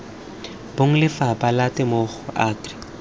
bong lefapha la temothuo agri